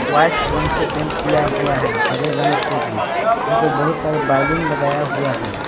White रंग से paint किया हुआ है हरे रंग से भी यहां पे बहुत सारे बैलून लगाया हुआ है।